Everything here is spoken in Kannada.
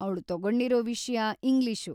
ಅವ್ಳು ತಗೊಂಡಿರೋ ವಿಷ್ಯ ಇಂಗ್ಲೀಷು.